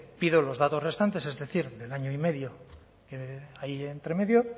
pido los datos restantes es decir del año y medio que hay entre medio